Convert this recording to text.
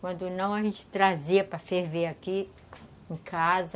Quando não, a gente trazia para ferver aqui em casa.